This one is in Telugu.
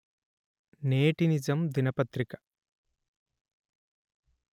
నేటి నిజం దినపత్రిక